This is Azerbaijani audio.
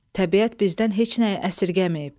Təbiət bizdən heç nəyi əsirgəməyib.